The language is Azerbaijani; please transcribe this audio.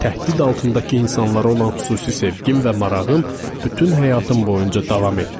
Təhdid altındakı insanlara olan xüsusi sevgim və marağım bütün həyatım boyunca davam etdi.